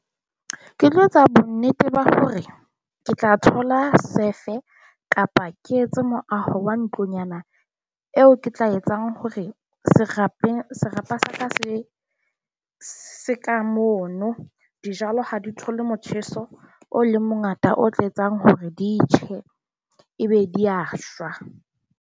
Ke tlo etsa bonnete ba hore ke tla thola sefe kapa ke etse moaho wa ntlonyana eo ke tla etsang hore serapeng sa ka se se ka mono. Dijalo ha di thole motjheso o leng mongata o tla etsang hore di tjhe ebe di a shwa.